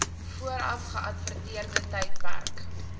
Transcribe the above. vooraf geadverteerde tydperk